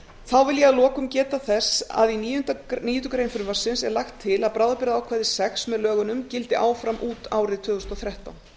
þá vil ég að lokum geta þess að í níundu grein frumvarpsins er lagt til að bráðabirgðaákvæði sjötti með lögunum gildi áfram út árið tvö þúsund og þrettán